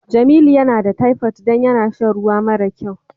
Jamilu yana da typhoid don yana sha ruwa mare kyau.